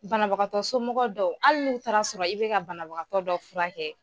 Banabagatɔ somɔgɔ dɔw hali n'u taara sɔrɔ i bɛka banabagatɔ dɔ furakɛ.